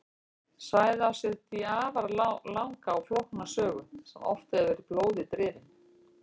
Svæðið á sér því afar langa og flókna sögu sem oft hefur verið blóði drifin.